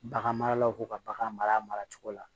Bagan maralaw ko ka bagan maracogo la